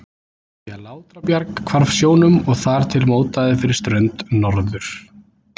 því að Látrabjarg hvarf sjónum og þar til mótaði fyrir strönd Norður-